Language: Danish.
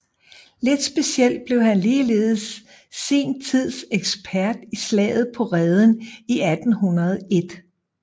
Lidt specielt blev han ligeledes sin tids ekspert i Slaget på Reden i 1801